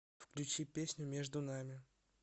включи песню между нами